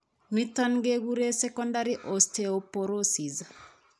Niton keguren secondary osteoporosis